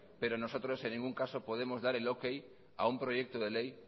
pero nosotros en ningún caso podemos dar el ok a un proyecto de ley